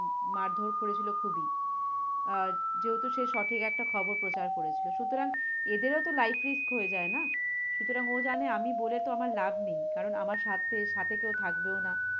মারধর করেছিলো খুবই। আহ যেহেতু সে সঠিক একটা খবর প্রচার করেছিলো। সুতরাং এদেরও তো life risk হয়ে যায় না? সুতরাং ও জানে আমি বলে তো আমার লাভ নেই। কারণ আমার সাথে, সাথে কেও থাকবেও না।